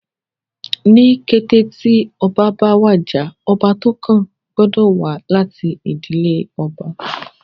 Ní kété tí ọba bá wàjà, ọba tó kàn gbọ́dọ̀ wá láti ìdílé ọba